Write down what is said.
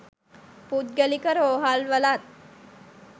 පුද්ගලික රෝහල්වලත්